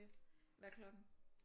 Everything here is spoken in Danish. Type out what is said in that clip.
Hvad er klokken?